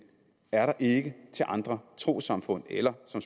er der ikke til andre trossamfund eller som